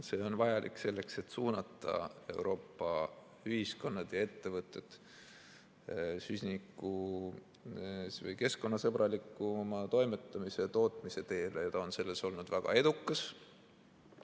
See on vajalik selleks, et suunata Euroopa ühiskonnad ja ettevõtted keskkonnasõbralikuma toimetamise ja tootmise teele, ja ta on selles olnud väga edukas.